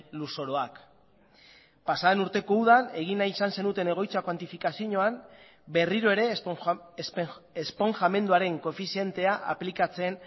lurzoruak pasaden urteko udan egin nahi izan zenuten egoitza kuantifikazioan berriro ere esponjamenduaren koefizientea aplikatzen